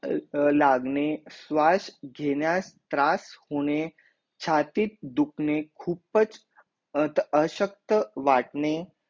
लागणे स्वास घेण्या तरास होणे छातीत दुकने खुपच अशक्त वाटणे